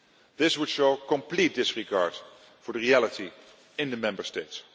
usual. This would show complete disregard for the reality in the Member States.